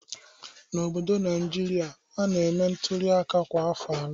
N'obodo Naịjirịa, a na-eme ntuli aka kwa afọ anọ